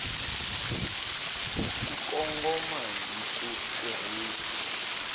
ku kongoma hi ku tirhisa